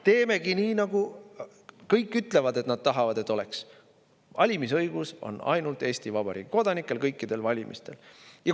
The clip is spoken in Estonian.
Teemegi nii, nagu kõik ütlevad, et nad tahavad, et oleks: valimisõigus on ainult Eesti Vabariigi kodanikel kõikidel valimistel.